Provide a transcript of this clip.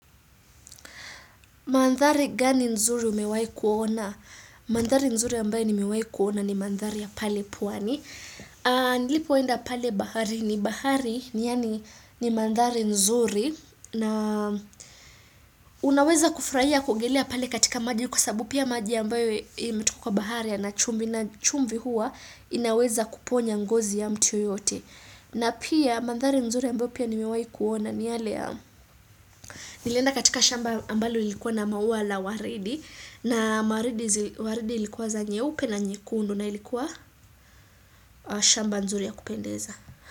Mandhari gani nzuri umewayi kuona? Mandhari nzuri ambayo nimiwayi kuona ni mandhari ya pale pwani. Nilipoenda pale bahari ni bahari ni yani ni mandhari nzuri na unaweza kufraia kugelea pale katika maji yuko sabu pia maji ambayo imetuko kwa bahari ya nachumbi na chumvi hua inaweza kuponya ngozi ya mtu yoyote. Na pia mandhari nzuri ya mbopia ni mewai kuona ni yale ya nilenda katika shamba ambalo ilikuwa na mauwa la waridi na waridi ilikuwa za nyeupe na nyekuundu na ilikuwa shamba nzuri ya kupendeza.